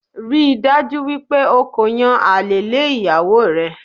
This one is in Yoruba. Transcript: Ríi dájú wípé o ko yan àlè lé ìyàwó rẹ